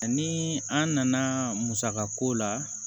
Ani an nana musaka ko la